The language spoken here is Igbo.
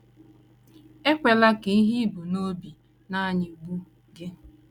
Ekwela ka ihe i bu n’obi na - anyịgbu gị.